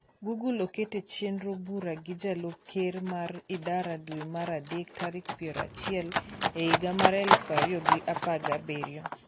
google oket e chenro bura gi jalop ker mar idara dwe mar adek tarik piero achiel l higa mar eluf ariyo gi apargi abirio